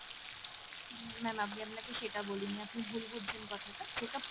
উম ma'am আমি আপনাকে সেটা বলিনি আপনি ভুল বুঝছেন কথাটা check up